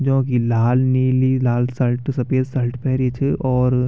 जोंकि लाल नीली लाल शल्ट सफेद शल्ट पैरी च और --